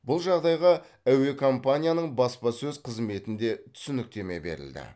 бұл жағдайға әуекомпанияның баспасөз қызметінде түсініктеме берілді